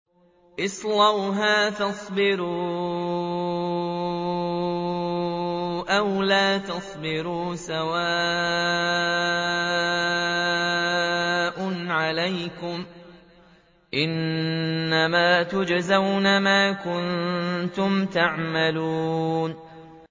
اصْلَوْهَا فَاصْبِرُوا أَوْ لَا تَصْبِرُوا سَوَاءٌ عَلَيْكُمْ ۖ إِنَّمَا تُجْزَوْنَ مَا كُنتُمْ تَعْمَلُونَ